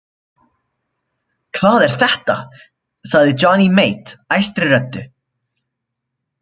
Hvað er þetta sagði Johnny Mate æstri röddu.